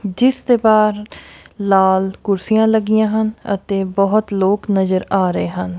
ਜਿਸ ਦੇ ਬਾਹਰ ਲਾਲ ਕੁਰਸੀਆਂ ਲੱਗੀਆਂ ਹਨ ਅਤੇ ਬਹੁਤ ਲੋਕ ਨਜ਼ਰ ਆ ਰਹੇ ਹਨ।